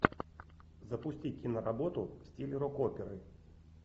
запусти киноработу в стиле рок оперы